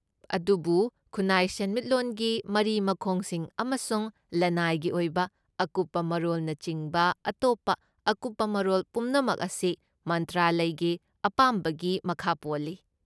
ꯑꯗꯨꯕꯨ ꯈꯨꯟꯅꯥꯏ ꯁꯦꯟꯃꯤꯠꯂꯣꯟꯒꯤ ꯃꯔꯤ ꯃꯈꯣꯡꯁꯤꯡ ꯑꯃꯁꯨꯡ ꯂꯅꯥꯏꯒꯤ ꯑꯣꯏꯕ ꯑꯀꯨꯞꯄ ꯃꯔꯣꯜꯅꯆꯤꯡꯕ ꯑꯇꯣꯞꯄ ꯑꯀꯨꯞꯄ ꯃꯔꯣꯜ ꯄꯨꯝꯅꯃꯛ ꯑꯁꯤ ꯃꯟꯇ꯭ꯔꯥꯂꯌꯒꯤ ꯑꯄꯥꯝꯕꯒꯤ ꯃꯈꯥ ꯄꯣꯜꯂꯤ꯫